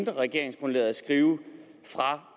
i regeringsgrundlaget fra